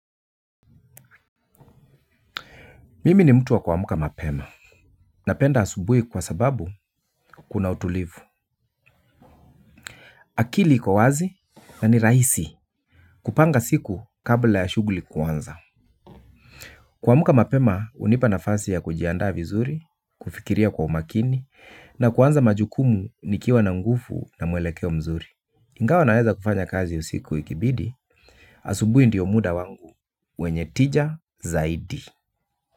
Mimi ni mtu wa kuamka mapema. Napenda asubuhi kwa sababu kuna utulivu. Akili iko wazi na ni rahisi kupanga siku kabla ya shughuli kuanza. Kuamka mapema unipa nafasi ya kujiandaa vizuri, kufikiria kwa umakini na kuanza majukumu nikiwa na nguvu na mwelekeo mzuri. Ingawa naweza kufanya kazi usiku ikibidi, asubuhi ndiyo muda wangu, wenye tija zaidi.